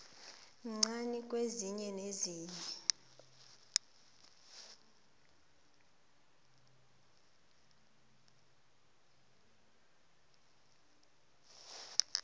mncani kwesinye nesinye